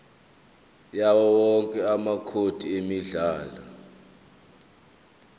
yawowonke amacode emidlalo